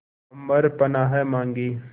अम्बर पनाहे मांगे